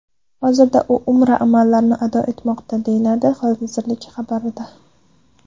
Hozirda u Umra amallarini ado etmoqda, deyiladi vazirlik xabarida.